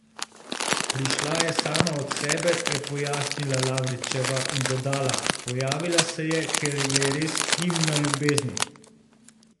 Prišla je sama od sebe," je pojasnila Lavričeva in dodala: "Pojavila se je, ker je res himna ljubezni.